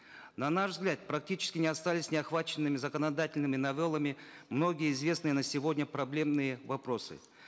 на наш взгляд практически не остались неохваченными законодательными новеллами многие известные на сегодня проблемные вопросы